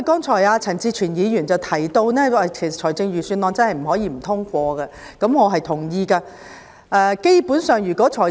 陳志全議員剛才提到，預算案真的不能不通過，我認同他的說法。